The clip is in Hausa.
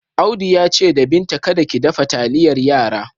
Audu ya ce da Binta kada ki dafa taliyar yara.